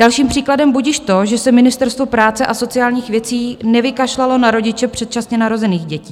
Dalším příkladem budiž to, že se Ministerstvo práce a sociálních věcí nevykašlalo na rodiče předčasně narozených dětí.